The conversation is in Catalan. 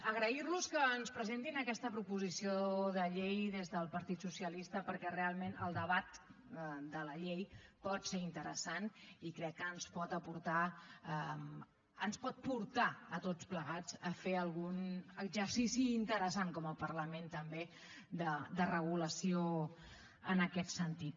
agrairlos que ens presentin aquesta proposició de llei des del partit socialista perquè realment el debat de la llei pot ser interessant i crec que ens pot portar a tots plegats a fer algun exercici interessant com a parlament també de regulació en aquest sentit